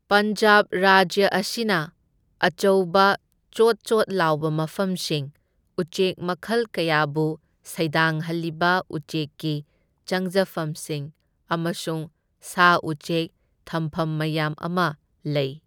ꯄꯟꯖꯥꯕ ꯔꯥꯖ꯭ꯌ ꯑꯁꯤꯅ ꯑꯆꯧꯕ ꯆꯣꯠ ꯆꯣꯠ ꯂꯥꯎꯕ ꯃꯐꯝꯁꯤꯡ, ꯎꯆꯦꯛ ꯃꯈꯜ ꯀꯌꯥꯕꯨ ꯁꯩꯗꯥꯡꯍꯜꯂꯤꯕ ꯎꯆꯦꯛꯀꯤ ꯆꯪꯖꯐꯝꯁꯤꯡ ꯑꯃꯁꯨꯡ ꯁꯥ ꯎꯆꯦꯛ ꯊꯝꯐꯝ ꯃꯌꯥꯝ ꯑꯃ ꯂꯩ꯫